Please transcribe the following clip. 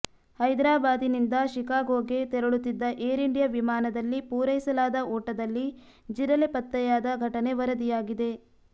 ಹೈದರಾಬಾದ್ನಿಂದ ಷಿಕಾಗೊಗೆ ತೆರಳುತ್ತಿದ್ದ Air India ವಿಮಾನದಲ್ಲಿ ಪೂರೈಸಲಾದ ಊಟದಲ್ಲಿ ಜಿರಲೆ ಪತ್ತೆಯಾದ ಘಟನೆ ವರದಿಯಾಗಿದೆ